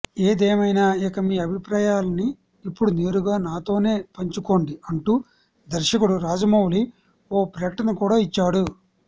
ఏదేమైనా ఇక మీ అభిప్రాయాలని ఇప్పుడు నేరుగా నాతోనే పంచుకోండి అంటూ దర్శకుడు రాజమౌళి ఓ ప్రకటన కూడా ఇచ్చాడు